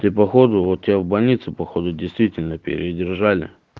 тебе походу вот тебе в больнице походу действительно передержали